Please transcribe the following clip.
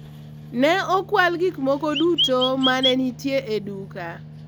ne okwal gik moko duto mane nitie e duka